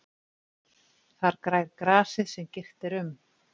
Þar grær grasið sem girt er um.